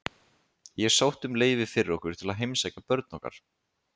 Ég sótti um leyfi fyrir okkur til að heimsækja börn okkar.